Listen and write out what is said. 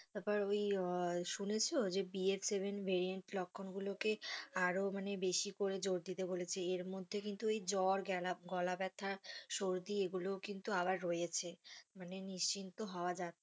তারপর ওই শুনেছো যে BF point seven variant লক্ষণ গুলোকে আরো বেশি করে জোর দুটি বলে এর মধ্যে কিন্তু জ্বর, গেলা~গলা ব্যাথা, সর্দি এগুলোও কিন্তু আবার রয়েছে মানে নিশ্চিন্ত হওয়া যাচ্ছে না।